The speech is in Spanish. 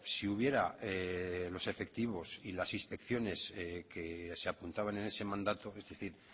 si hubiera los efectivos y las inspecciones que se apuntaban en ese mandato es decir